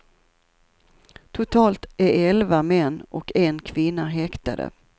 Totalt är elva män och en kvinna häktade.